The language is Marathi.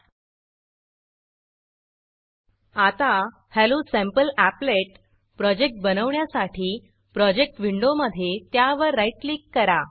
आता hello sample applet hello sample applet project बनवण्यासाठी प्रोजेक्ट विंडोमधे त्यावर राईट क्लिक करा